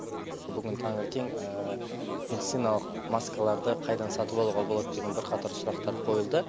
бүгін таңертең медициналық маскаларды қайдан сатып алуға болады деген бірқатар сұрақтар қойылды